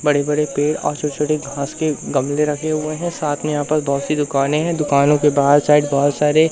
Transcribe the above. बड़े बड़े पेड़ और छोटे छोटे घास के गमले रखे हुए हैं साथ में यहां पास बहोत सी दुकानें हैं दुकानों के बाहर साइड बहोत सारे--